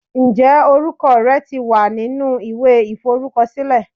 Ǹjẹ́ orúkọ rẹ ti wà nínú ìwé iforukosile?